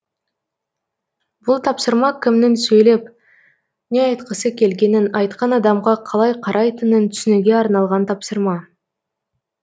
бұл тапсырма кімнің сөйлеп не айтқысы келгенін айтқан адамға қалай қарайтынын түсінуге арналған тапсырма